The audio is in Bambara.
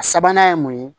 A sabanan ye mun ye